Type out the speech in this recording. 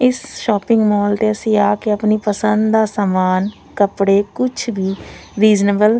ਇਸ shopping mall ਦੇ ਅਸੀਂ ਆ ਕੇ ਆਪਣੀ ਪਸੰਦ ਦਾ ਸਮਾਨ ਕੱਪੜੇ ਕੁੱਛ ਵੀ --